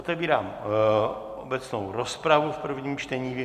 Otevírám obecnou rozpravu v prvním čtení.